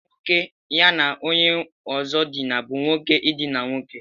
Nwoke ya na onye ozo dina bu nwoke idina nwoke.